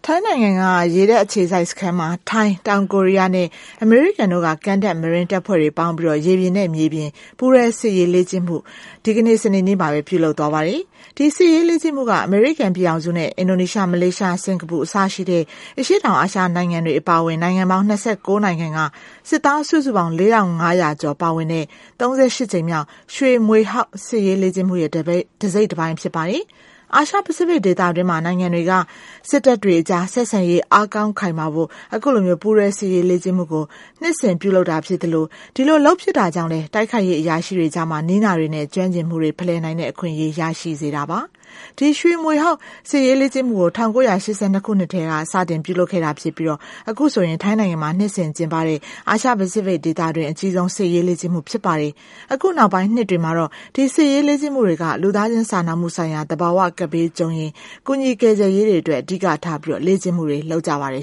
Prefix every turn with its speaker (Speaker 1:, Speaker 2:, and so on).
Speaker 1: ိုင်းနိုင်ငံက ရေတပ်အခြေစိုက်စခန်းမှာ ထိုင်း၊ တောင်ကိုရီးယားနဲ့ အမေရိကန်တို့က ကမ်းတက် marine တပ်ဖွဲ့တွေပေါင်းပြီး ရေပြင်နဲ့မြေပြင် ပူးတွဲစစ်ရေးလေ့ကျင့်မှုအခု ဒီကနေ့ စနေနေ့ကပဲ ပြုလုပ်သွားပါတယ်။ ဒီစစ်ရေးလေ့ကျင့်မှုက အမေရိကန်ပြည်ထောင်စုနဲ့ Indonesia, Malaysia, Singapore အစရှိတဲ့ အရှေ့တောင် အာရှနိုင်ငံတွေ အပါအဝင် နိုင်ငံပေါင်း ၂၉ နိုင်ငံက စစ်သားစုစုပေါင်း ၄၅၀၀ ကျော် ပါဝင်တဲ့ ၃၈ ကြိမ်မြောက် ရွှေမြွေဟောက်စစ်ရေးလေ့ကျင့်မှုရဲ့ တစိတ်တပိုင်း ဖြစ်ပါတယ်။ အာရှ ပိစိဖိတ်ဒေသတွင်း နိုင်ငံတွေက စစ်တပ်တွေအကြား ဆက်ဆံရေး အားကောင်းခိုင်မာဖို့ အခုလို ပူးတွဲ စစ်ရေးလေ့ကျင့်မှုကို နှစ်စဉ်ပြုလုပ်တာ ဖြစ်ပြီး ဒီလိုလုပ်ဖြစ်တာကြောင့်လည်း တိုက်ခိုက်ရေးအရာရှိတွေကြား နည်းနာတွေနဲ့ ကျွမ်းကျင်မှုတွေ ဖလှယ်နိုင်တဲ့ အခွင့်အရေးရရှိစေတာပါ။ ဒီရွှေမြွေဟောက်စစ်ရေးလေ့ကျင့်မှုကို ၁၉၈၂ ခုနှစ်ကတည်းက စတင် ပြုလုပ်ခဲ့တာ ဖြစ်ပြီး အခုဆိုရင် ထိုင်း နိုင်ငံမှာ နှစ်စဉ်ကျင်းပတဲ့ အာရှ ပိစိဖိတ်ဒေသတွင်း အကြီးဆုံးစစ်ရေးလေ့ကျင့်မှု ဖြစ်ပါတယ်။ အခုနောက်ပိုင်း နှစ်တွေမှာတော့ ဒီစစ်ရေးလေ့ကျင့်မှုတွေက လူသားချင်းစာနာမှုဆိုင်ရာနဲ့ သဘာဝကပ်ဘေးကြုံရင် ကူညီ ကယ်ဆယ်ရေးတွေအတွက် အဓိကထားပြီး လေ့
Speaker 2: ကျင့်မှုတွေ လုပ်ကြပါတယ်